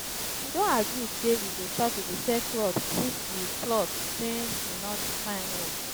we don agree say we go start to dey sell cloth since we cloth since we no find work